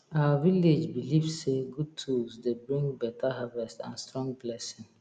our village belief say good tools dey bring beta harvest and strong blessing